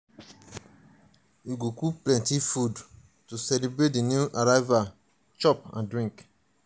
we go cook plenty food to celebrate di new arrival chop and drink.